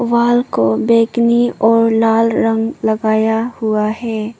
Wall को बैंगनी और लाल रंग लगाया हुआ है।